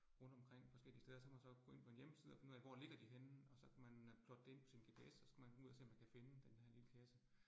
Rundt omkring forskellige steder, så kan man så gå ind på en hjemmeside og finde ud af, hvor ligger de henne, og så kan man øh plotte det ind på sin GPS, og så skal man ud og se, om man kan finde denne her lille kasse